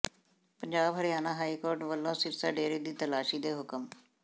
Punjab Haryana high court ਵੱਲੋਂ ਸਿਰਸਾ ਡੇਰੇ ਦੀ ਤਲਾਸ਼ੀ ਦੇ ਹੁਕਮ